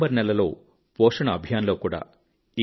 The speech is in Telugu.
సెప్టెంబర్ నెలలో పోషణ్ అభియాన్ లో కూడా